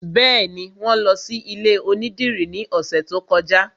Bẹ́ẹ̀ni, wọn lọ sí ilé onídìrí ní ọ̀sẹ̀ tó kọjá